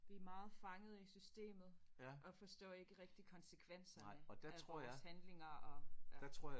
Vi er meget fanget i systemet og forstår ikke rigtig konsekvenserne af vores handlinger og ja